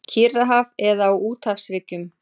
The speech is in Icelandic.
Kyrrahaf eða á úthafshryggjum.